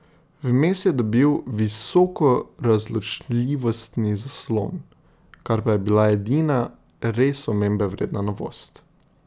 Vmes je dobil visokorazločljivostni zaslon, kar pa je bila edina res omembe vredna novost.